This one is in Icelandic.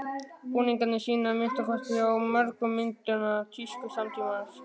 Búningarnir sýna, að minnsta kosti á mörgum myndanna, tísku samtímans.